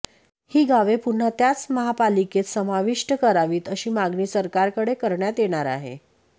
ही गावे पुन्हा त्याच महापालिकेत सामाविष्ट करावीत अशी मागणी सरकारकडे करण्यात येणार आहे